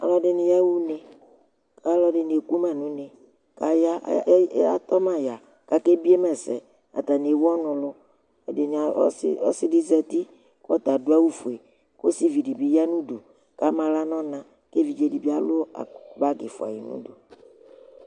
Ɔlʋɛɖìní yaha ʋne kʋ alʋɛdìní ekʋma ŋu une Atɔma ya kʋ akebiyema ɛsɛ Ataŋi ɛwu ɔlu lu Ɛɖìní, ɔsi ɖi zɛti kʋ ɔta aɖu awu fʋe Ɔsìví ɖi bi yaŋʋ ʋdu ama aɣla ŋu ɔna kʋ evidze ɖìbí alu bag ɛfʋa yanu ʋdu